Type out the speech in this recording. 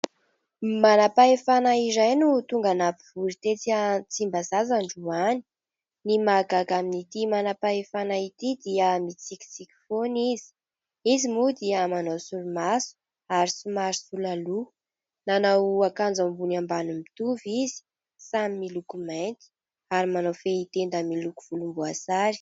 Manam-pahefana iray no tonga nampivory tetsy Tsimbazaza androany. Ny mahagaga amin'ity manam-pahefana ity dia mitsikitsiky foana izy ; izy moa dia manao solomaso ary somary sola loha. Nanao akanjo ambony ambany mitovy izy, samy miloko mainty, ary manao fehitenda miloko volomboasary.